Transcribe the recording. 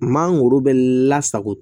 Maa wolo bɛ lasako